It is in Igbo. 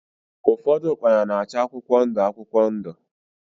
Ụfọdụ ukpana na-acha akwụkwọ ndụ akwụkwọ ndụ.